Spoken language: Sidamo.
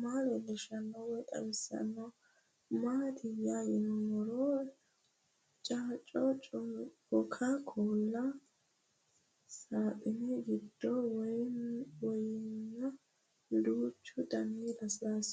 maa leelishshanno woy xawisannori maattiya yinummoro coca coolu saaxine giddo wayiinna duuchu danni lasilaasi noo